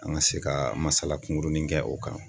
An ka se ka masala kunkurunin kɛ o kan